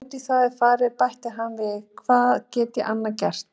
Og ef út í það er farið bætti hann við, hvað get ég annað gert?